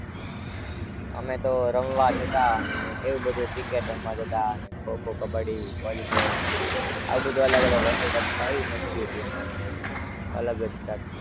અમે તો રમવા જતાં ને એવું બધું cricket રમવા જતાં ને ખો-ખો, કબડ્ડી, વોલીબોલ આવું બધું અલગ અલગ રમત રમતાં એવી મસ્તી હતી અમારી તો અલગ જ કઈક.